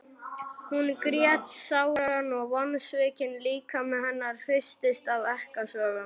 Hún grét sáran og vonsvikinn líkami hennar hristist af ekkasogum.